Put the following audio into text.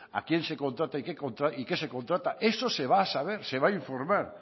a quién se contrata y qué se contrata eso se va a saber se va a informar